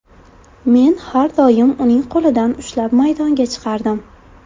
Men har doim uning qo‘lidan ushlab maydonga chiqardim.